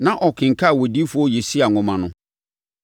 Na ɔrekenkan Odiyifoɔ Yesaia nwoma no.